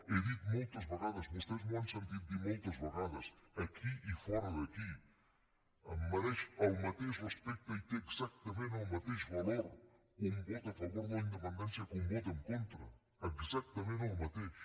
he dit moltes vegades vostès m’ho han sentit dir moltes vegades aquí i fora d’aquí em mereix el mateix respecte i té exactament el mateix valor un vot a favor de la independència que un vot en contra exactament el mateix